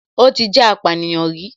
Ó ti jẹ́ apànìyàn rí